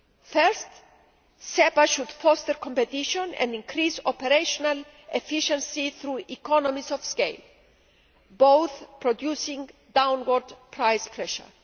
Firstly, SEPA should foster competition and increase operational efficiency through economies of scale both producing downward price pressure.